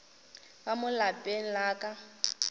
ka mo lapeng la ka